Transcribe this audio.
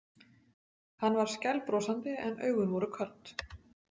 Hann var skælbrosandi en augun voru köld.